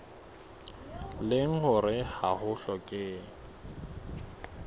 leng hore ha ho hlokehe